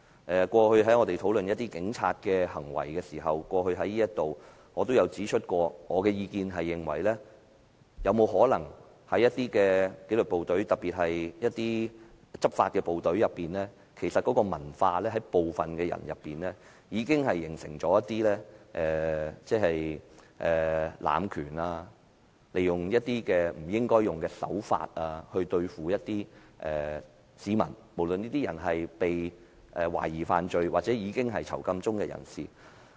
我們過去在這裏討論警察的行為時，我也曾指出，有沒有可能在一些紀律部隊，執法的部隊的文化中，部分人已形成了濫權、利用不應使用的手法來對付市民——無論這些人是被懷疑犯了罪或是正在囚禁中的人士。